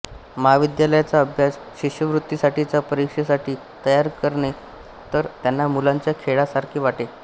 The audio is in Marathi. महाविद्यालयाचा अभ्यास शिष्यवृत्तीसाठीच्या परीक्षेसाठी तयारी करणं तर त्यांना मुलांच्या खेळासारखे वाटे